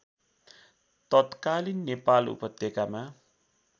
तत्कालिन नेपाल उपत्यकामा